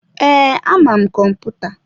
Ee, ama m kọmputa.